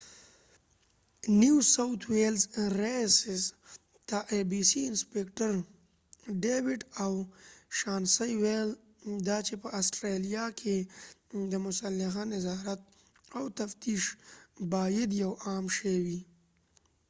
rspca نيو ساؤتھ ویلز رییس انسپکټر ډیویډ او شانسي abc ته وویل دا چې په اسټرالیا کې د مسلخ نظارت او تفتیش باید یو عام شی وي